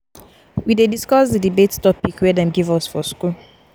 we dey discuss di debate topic wey dem give us for skool.